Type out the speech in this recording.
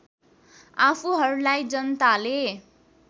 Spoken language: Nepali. आफूहरूलाई जनताले